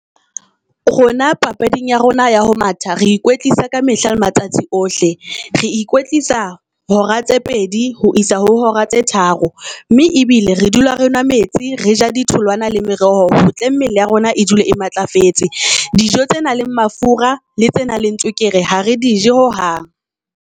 Rona papading ya rona ya ho matha, re ikwetlisa ka mehla le matsatsi ohle. Re ikwetlisa hora tse pedi ho isa ho hora tse tharo mme bile re dula re nwa metsi, re ja di tholwana le meroho. Hotle mmele ya rona e dule e matlafetse. Dijo tse nang le mafura le tse nang le mafura le tsenang le tswekere ga re dije hohang.